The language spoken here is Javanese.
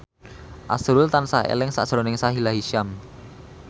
azrul tansah eling sakjroning Sahila Hisyam